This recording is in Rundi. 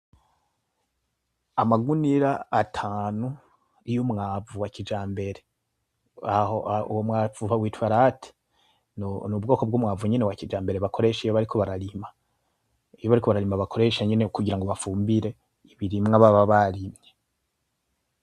Amagunira atanu y'umwavu wakijambere. Aho uwo mwavu bawita LAT. Nubwoko bw'umwavu nyene wakijambere bakoresha iyo bariko bararima. Iyo bariko bararima bakoresha nyene kugira ngo bafumbire ibirimwa baba barimye.